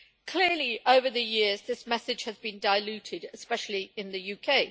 Clearly, over the years, this message has been diluted, especially in the UK.